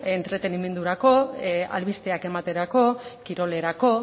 entretenimendurako albisteak ematerako kirolerako